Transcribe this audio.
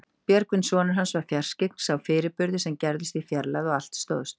Björgvin sonur hans var fjarskyggn, sá fyrirburði sem gerðust í fjarlægð og allt stóðst.